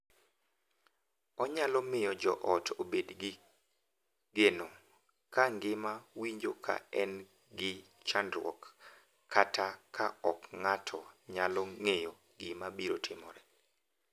Onyalo miyo joot obed gi geno. Ka ngima winjo ka en gi chandruok kata ka ok ng’ato nyalo ng’eyo gima biro timore,